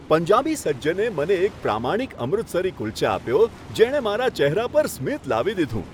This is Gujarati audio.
પંજાબી સજ્જને મને એક પ્રામાણિક અમૃતસરી કુલ્ચા આપ્યો, જેણે મારા ચહેરા પર સ્મિત લાવી દીધું.